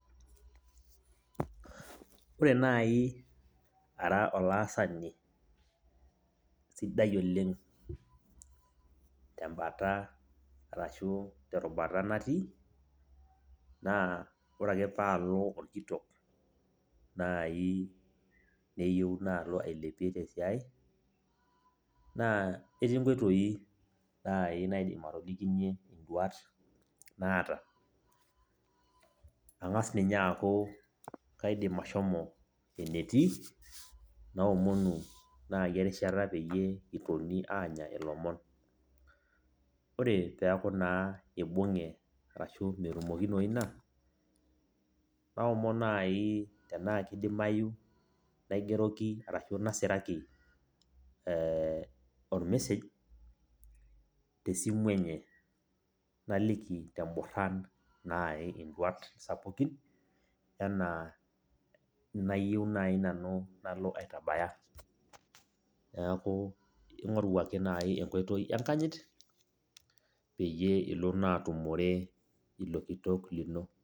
Ore nai ara olaasani sidai oleng tembata arashu terubata natii, naa ore ake palo orkitok nai neyieu nalo ailepie tesiai, naa etii nkoitoii nai naidim atolikinye iduat naata. Ang'as ninye aku kaidim ashomo enetii, naomonu nai erishata peyie kitoni anya ilomon. Ore peku naa ibung'e ashu metumokinoyu ina, naomon nai tenaa kidimayu naigeroki arashu nasiraki ormesej, tesimu enye. Naliki teborran nai iduat sapukin, enaa nayieu nai nanu nalo aitabaya. Neeku ing'oru ake nai enkoitoi enkanyit, peyie ilo naa atumore ilo kitok lino.